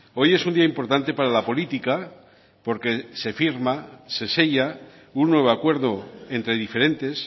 hoy es un día importante para la política porque se firma se sella un nuevo acuerdo entre diferentes